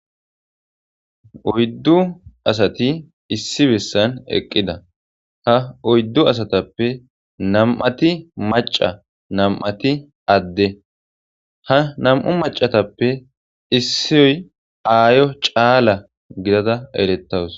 Oydu asati issu bessan eqqida ha oydu asatappe nam'ati mac'a nam'ati adde ha nam'u mac'atuppe issoy ayo c'ala gidada eretawus.